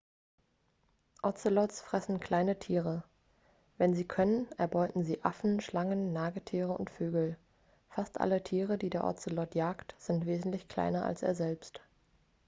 ozelots fressen kleine tiere wenn sie können erbeuten sie affen schlangen nagetiere und vögel fast alle tiere die der ozelot jagt sind wesentlich kleiner als er selbst